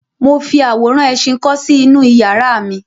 Mo fi àwòrán ẹṣin kọ́ sí inú iyàrá mi.